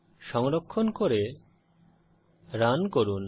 সংরক্ষণ করে রান করুন